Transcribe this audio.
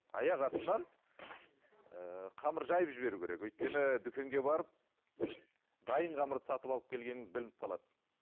аяқ астынан ыыы қамыр жайып жіберу керек өйткені дүкенге барып дайын қамырды сатып алып келгеніңіз білініп қалады